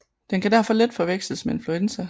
Den kan derfor let forveksles med influenza